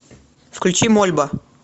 включи мольба